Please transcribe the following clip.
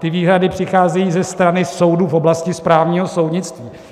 Ty výhrady přicházejí ze strany soudů v oblasti správního soudnictví.